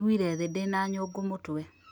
Ndĩragũire thĩ ndĩna nyũngũmũtwe